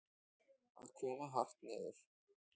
Að koma hart niður